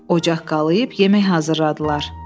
Ocaq qalıyıb yeməyi hazırladılar.